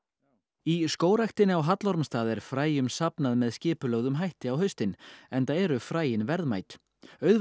í skógræktinni á Hallormsstað er fræjum safnað með skipulögðum hætti á haustin enda eru fræin verðmæt auðvelt